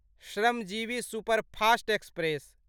Shramjeevi superfast express